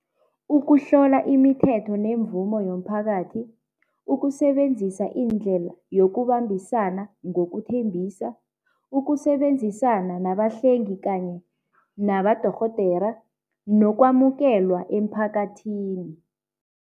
Ukuhlola imithetho nemvumo yomphakathi, ukusebenzisa iindlela yokubambisana ngokuthembisa, ukusebenzisana nabahlengi kanye nabadorhodera nokwamukelwa emphakathini.